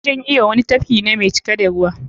Wajan iyo wani tafki ne mai cike da ruwa.